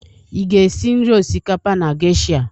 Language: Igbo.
Ị ga-esi nri osikapa na geisha?